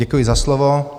Děkuji za slovo.